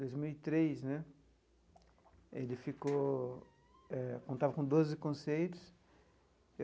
Dois mil e três né, ele ficou... eh contava com doze conceitos.